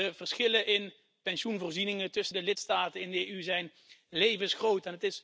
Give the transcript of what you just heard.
De verschillen in pensioenvoorzieningen tussen de lidstaten in de EU zijn levensgroot.